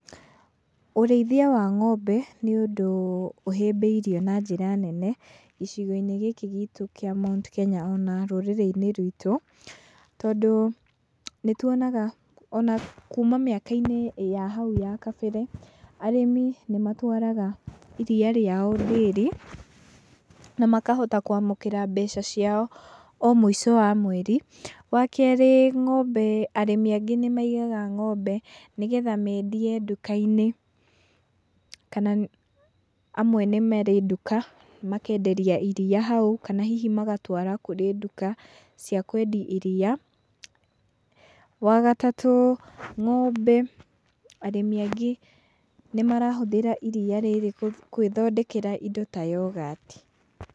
Ũrĩithia wa ng'ombe nĩ ũndũ ũhĩmbĩirio na njĩra nene gĩcigo-inĩ gĩkĩ gitũ kĩa Mount Kenya ona rũrĩrĩ-inĩ rwitũ, tondũ nĩtuonaga ona kuma mĩaka-inĩ ya hau ya kabere, arĩmi nĩmatwaraga iria rĩao ndĩri, na makahota kwamũkĩra mbeca ciao o mũico wa mweri. Wakerĩ ng'ombe arĩmi angĩ nĩmaigaga ng'ombe nĩgetha mendie nduka-inĩ, kana amwe nĩ marĩ nduka makenderia iria hau, kana magatwara kũrĩ nduka cia kwendia iria. Wagatatũ ng'ombe arĩmi angĩ nĩmarahũthĩra iria rĩrĩ kwĩthondekera indo ta yogati.